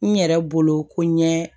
N yɛrɛ bolo ko n ɲe